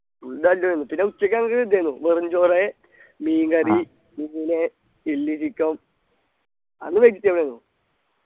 food പിന്നെ ഉച്ചയ്ക്ക് നമുക്ക് ഇതായിന്നു വെറും ചോറ് മീൻ curry പിന്നെ chilli chicken അന്ന് vegetable ആയിന്നു